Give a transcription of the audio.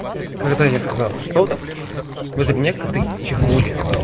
когда я сказал сода возле меня коты чихнули